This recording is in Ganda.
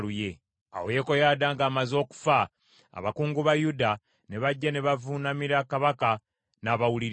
Awo Yekoyaada ng’amaze okufa, abakungu ba Yuda ne bajja ne bavuunamira kabaka, n’abawuliriza.